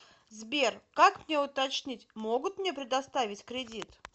сбер как мне уточнить могут мне предоставить кредит